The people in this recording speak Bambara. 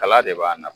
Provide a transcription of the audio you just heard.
Kala de b'a nafa